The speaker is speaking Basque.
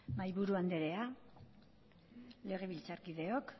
mahaiburu anderea legebiltzarkideok